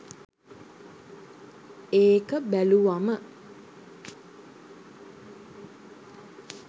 ඒක බැලුවම.